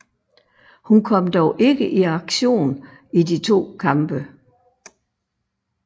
Hun kom dog ikke i aktion i de to kampe